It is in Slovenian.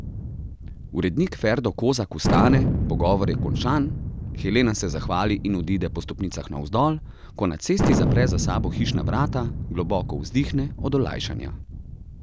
Urednik Ferdo Kozak vstane, pogovor je končan, Helena se zahvali in odide po stopnicah navzdol, ko na cesti zapre za sabo hišna vrata, globoko vzdihne od olajšanja.